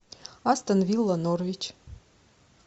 астон вилла норвич